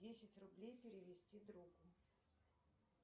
десять рублей перевести другу